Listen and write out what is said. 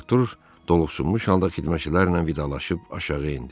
Artur doluxsunmuş halda xidmətçilərlə vidalaşıb aşağı endi.